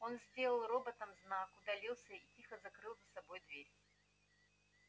он сделал роботам знак удалился и тихо закрыл за собой дверь